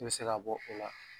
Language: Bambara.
I bɛ se k'a bɔ o la